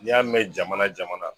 N'i y'a mɛn jamana jamana